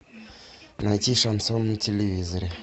найти шансон на телевизоре